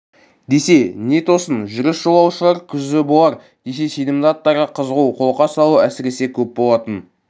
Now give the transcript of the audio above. десе не тосын жүріс жолаушылар күзі болар десе сенімді аттарға қызығу қолқа салу әсіресе көп болатын